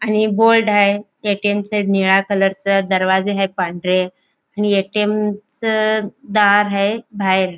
आणि ये बोल्ड आहे ए.टी.एम. च निळा कलर च दरवाजे आहे पांढरे ए.टी.एम. च दार हाये बाहेर.